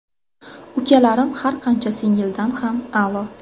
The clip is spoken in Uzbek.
Ukalarim har qancha singildan ham a’lo.